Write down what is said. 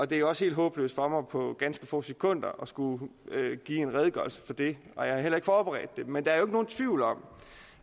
det er også helt håbløst for mig på ganske få sekunder at skulle give en redegørelse for det og jeg har heller ikke forberedt det men der er jo ikke nogen tvivl om